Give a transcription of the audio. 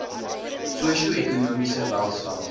sosio ekonomiese welstand